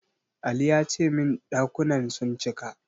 Ali ya ce min ɗakunan sun cika.